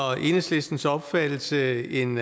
og enhedslistens opfattelse en